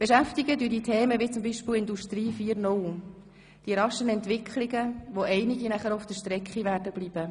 Es beschäftigen dich Themen wie zum Beispiel «Industrie 4.0», die raschen Entwicklungen, bei denen einige auf der Strecke bleiben werden.